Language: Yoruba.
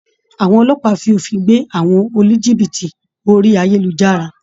Àwọn Ọlọ́pàá fi òfin gbé àwọn oníjìbìtì orí ayélujára